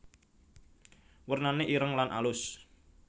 Wernane ireng lan alus